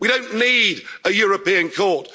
we don't need a European